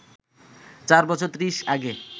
চার বছর ত্রিশ আগে